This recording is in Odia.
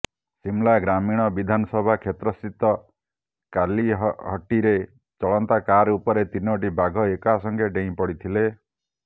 ସିମଲା ଗ୍ରାମୀଣ ବିଧାନସଭା କ୍ଷେତ୍ରସ୍ଥିତ କାଲିହଟ୍ଟିରେ ଚଳନ୍ତା କାର ଉପରେ ତିନିଟି ବାଘ ଏକାସଙ୍ଗେ ଡେଇଁ ପଡ଼ିଥିଲେ